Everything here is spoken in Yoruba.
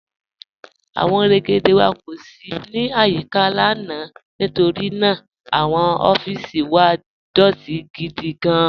Awọn rẹ́gédé wà kó sì ní ayíkà lána nítorí ná àwọn ọffísì wà dọtì gídí gán.